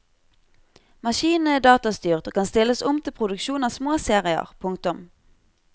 Maskinene er datastyrt og kan stilles om til produksjon av små serier. punktum